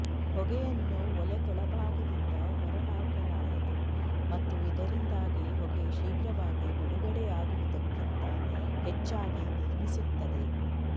ಹೊಗೆಯನ್ನು ಒಲೆ ಕೆಳಭಾಗದಿಂದ ಹೊರಹಾಕಲಾಯಿತು ಮತ್ತು ಇದರಿಂದಾಗಿ ಹೊಗೆ ಶೀಘ್ರವಾಗಿ ಬಿಡುಗಡೆಯಾಗುವುದಕ್ಕಿಂತ ಹೆಚ್ಚಾಗಿ ನಿರ್ಮಿಸುತ್ತದೆ